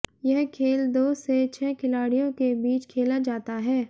यह खेल दो से छह खिलाड़ियों के बीच खेला जाता है